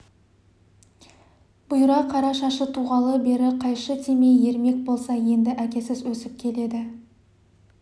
бұйра қара шашы туғалы бері қайшы тимей ермек болса енді әкесіз өсіп келеді